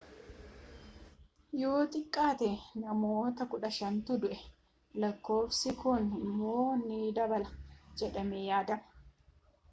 yoo xiqqaate namoota 15tu du'e lakkoofsi kun immoo ni dabala jedhamee yaadama